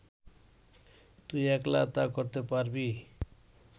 তুই একলা তা করতে পারবি